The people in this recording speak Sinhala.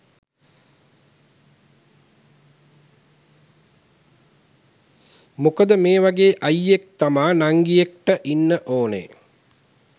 මොකද මේ වගේ අයියෙක් තමා නංගියෙක්ට ඉන්න ඕනේ.